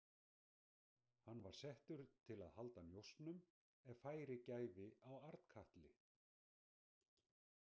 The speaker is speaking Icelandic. Hann var settur til að halda njósnum ef færi gæfi á Arnkatli.